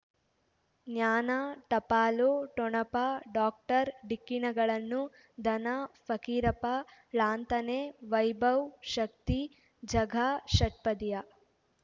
ಜ್ಞಾನ ಟಪಾಲು ಠೊಣಪ ಡಾಕ್ಟರ್ ಢಿಕ್ಕಿ ಣಗಳನು ಧನ ಫಕೀರಪ್ಪ ಲಾಂತನೆ ವೈಭವ್ ಶಕ್ತಿ ಝಗಾ ಷಟ್ಪದಿಯ